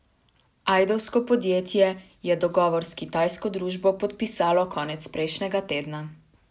Ajdovsko podjetje je dogovor s kitajsko družbo podpisalo konec prejšnjega tedna.